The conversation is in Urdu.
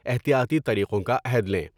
احتیاطی طریقوں کا عہد لیں ۔